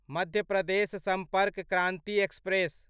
Madhya Pradesh Sampark Kranti express